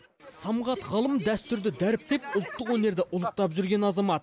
самғат ғалым дәстүрді дәріптеп ұлттық өнерді ұлықтап жүрген азамат